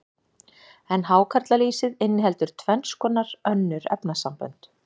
en hákarlalýsið inniheldur tvenns konar önnur efnasambönd